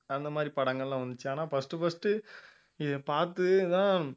அந்த மாதிரி படங்கள்லாம் வந்துச்சு ஆனால் first first இதை பார்த்துதான்